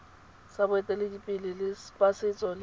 sa boeteledipele ba setso se